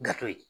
Gato ye